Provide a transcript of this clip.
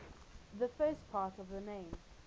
the first part of the name